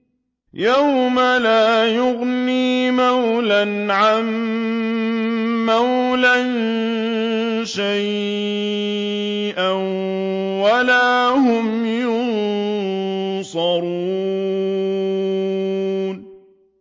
يَوْمَ لَا يُغْنِي مَوْلًى عَن مَّوْلًى شَيْئًا وَلَا هُمْ يُنصَرُونَ